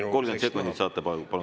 Jaa, 30 sekundit saate tagasi.